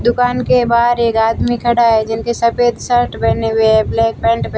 दुकान के बाहर एक आदमी खड़ा है जिनके सफेद शर्ट पहने हुए ब्लैक पैंट --